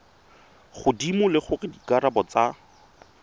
godimo le gore dikarabo tsa